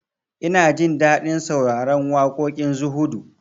Ina jin daɗin sauraron waƙoƙin zuhudu